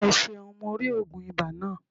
O seun. Mo ri ogun iba naa.